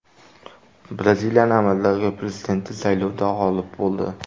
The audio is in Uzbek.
Braziliyaning amaldagi prezidenti saylovda g‘olib bo‘ldi.